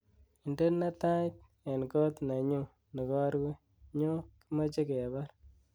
Indene Tait eng koot neyun negorue nyo kimache kebar